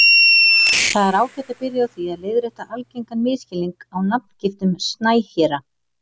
Það er ágætt að byrja á því að leiðrétta algengan misskilning á nafngiftum snæhéra.